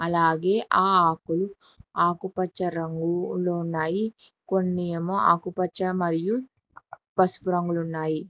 అలాగే ఆ ఆకులు ఆకుపచ్చ రంగులో ఉన్నాయి కొన్ని ఏమో ఆకుపచ్చ మరియు పసుపు రంగులు ఉన్నాయి.